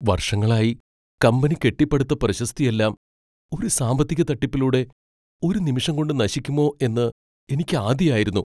വർഷങ്ങളായി കമ്പനി കെട്ടിപ്പടുത്ത പ്രശസ്തിയെല്ലാം ഒരു സാമ്പത്തിക തട്ടിപ്പിലൂടെ ഒരു നിമിഷം കൊണ്ട് നശിക്കുമോ എന്ന് എനിക്ക് ആധിയായിരുന്നു.